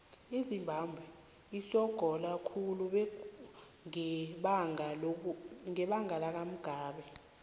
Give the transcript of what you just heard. izimbabwe isogola khulu ngebanga lakamugabe